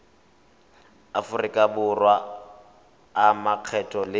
aforika borwa a makgetho le